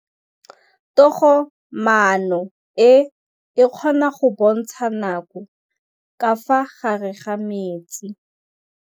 Toga-maanô e, e kgona go bontsha nakô ka fa gare ga metsi.